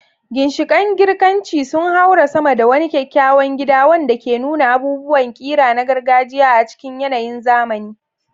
Ginshiƙan Girkanci sun haura sama da wani kyakkyawan gida wanda ke nuna abubuwan ƙira na gargajiya a cikin yanayin zamani.